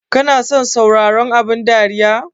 Kana son sauraron abun dariya?